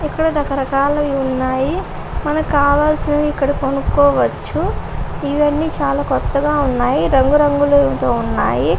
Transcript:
ఇక్కడ రకరకాలు ఉన్నాయి. మనకు కావలసిన ఇక్కడ కొనుక్కోవచ్చు. ఇవన్నీ చాలా కొత్తగా ఉన్నాయి. రంగురంగులతో ఉన్నాయి.